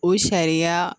O sariya